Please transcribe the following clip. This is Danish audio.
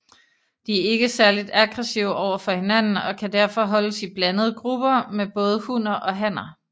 De er ikke særligt aggressive overfor hinanden og kan derfor holdes i blandede grupper med både hunner og hanner